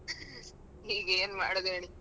ಈಗ ಏನ್ ಮಾಡೋದ್ ಹೇಳಿ.